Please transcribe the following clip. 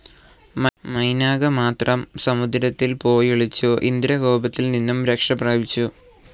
മൈനാകമാത്രം സമുദ്രത്തിൽ പോയൊളിച്ചു ഇന്ദ്രകോപത്തിൽനിന്നും രക്ഷപ്രാപിച്ചു.